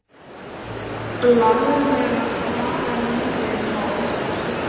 laglega fara lítið má.